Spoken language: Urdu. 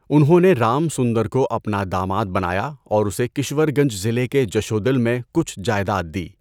انہوں نے رام سُندر کو اپنا داماد بنایا اور اسے کشور گنج ضلع کے جشودل میں کچھ جائیداد دی۔